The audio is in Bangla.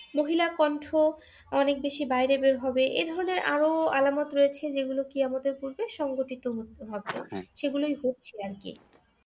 মহিলা কন্ঠ অনেক বেশি বাইরে বের হবে এধরনের আরও আলামত রয়েছে যেগুলো কেয়ামতের পূর্বে সংঘটিত হবে সেগুলোই হচ্ছে আরকি।